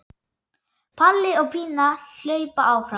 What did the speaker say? Palli og Pína hlaupa fram.